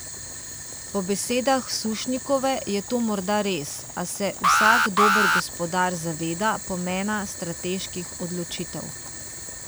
Po besedah Sušnikove je to morda res, a se vsak dober gospodar zaveda pomena strateških odločitev.